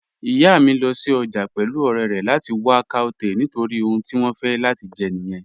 Iyà mi lọ sí ọjà pẹ̀lú ọ̀rẹ̀ rẹ̀ lati wà cọwtail̀ nitori ohun ti wọn fẹ̀ lati jẹ̀ niyẹn.